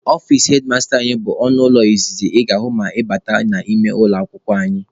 Ọfici hedmasta anyị bụ ọnụ ụlọ izizi ị ga-ahụ ma ị bata n'ime ụlọ akwụkwọ anyị.